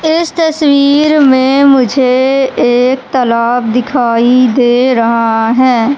इस तस्वीर में मुझे एक तालाब दिखाई दे रहा हैं।